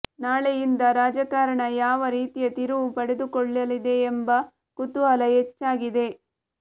ನಾಳೆಯಿಂದ ರಾಜಕಾರಣ ಯಾವ ರೀತಿಯ ತಿರುವು ಪಡೆದುಕೊಳ್ಳಲಿದೆ ಎಂಬ ಕುತೂಹಲ ಹೆಚ್ಚಾಗಿದೆ